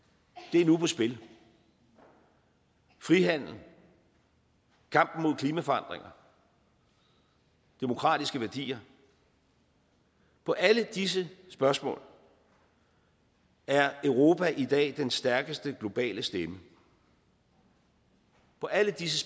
er nu på spil frihandel kampen mod klimaforandringer demokratiske værdier på alle disse spørgsmål er europa i dag den stærkeste globale stemme på alle disse